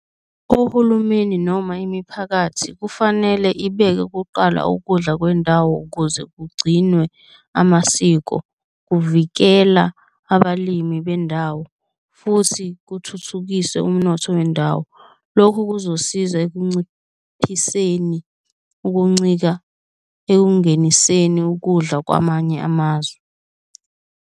Ohulumeni noma imiphakathi kufanele ibeke kuqala ukudla kwendawo ukuze kugcinwe amasiko, kuvikela abalimi bendawo futhi kuthuthukise umnotho wendawo, lokhu kuzosiza ekunciphiseni ukuncika ekungeniseni ukudla kwamanye amazwe.